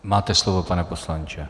Máte slovo, pane poslanče.